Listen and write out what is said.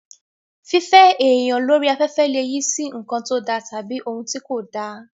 Fífẹ́ èèyàn lórí afẹ́fẹ́ lè yí sí nǹkan tó da tàbí ohun tí kò dá